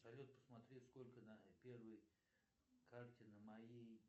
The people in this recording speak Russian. салют посмотри сколько на первой карте на моей